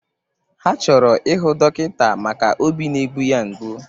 Ha chọrọ ịhụ dọkịta maka óbí na-egbu ya mgbu.